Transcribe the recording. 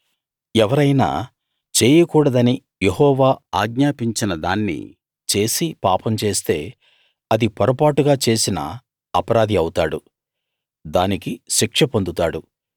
ఎవరైనా చేయకూడదని యెహోవా ఆజ్ఞాపించిన దాన్ని చేసి పాపం చేస్తే అది పొరపాటుగా చేసినా అపరాధి అవుతాడు దానికి శిక్ష పొందుతాడు